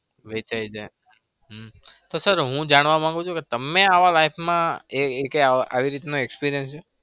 વેચાઈ જાય. હમ તો sir હું જાણવા માગું છુ કે તમને આવા life માં એકેય આવો આવી રીતના experience છે?